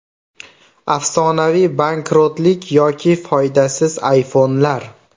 Afsonaviy bankrotlik yoki foydasiz ayfonlar.